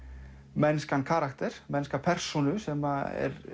mennskan karakter mennska persónu sem